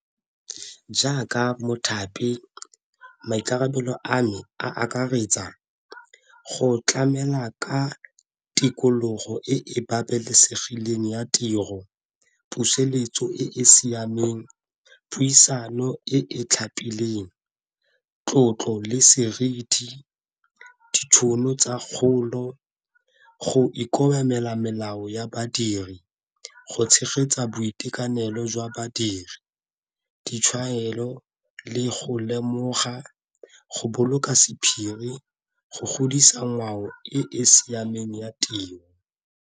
Jaaka mothapi maikarabelo a me a akaretsa go tlamela ka tikologo e e babalesegileng ya tiro, puseletso e e siameng, puisano e e tlhapileng, tlotlo le seriti, ditšhono tsa kgolo, go ikobela melao ya badiri, go tshegetsa boitekanelo jwa badiri, ditshwaelo le go lemoga, go boloka sephiri, go godisa ngwao e e siameng ya tiro.